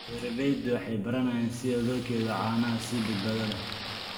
Beeraleydu waxay baranayaan sida loo kaydiyo caanaha si badbaado leh.